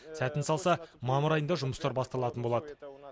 сәтін салса мамыр айында жұмыстар басталатын болады